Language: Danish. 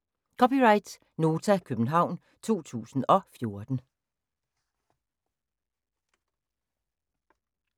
(c) Nota, København 2014